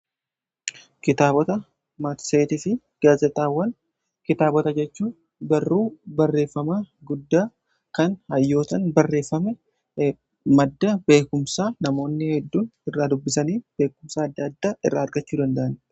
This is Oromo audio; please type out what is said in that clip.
kitaabota maatseetii fi gaazixxaawwan kitaabota jechuun barruu barreeffamaa guddaa kan hayyootan barreeffame madda beekumsaa namoonni hedduun irraa dubbisanii beekumsaa adda adda irraa argachuu danda'anidhaa.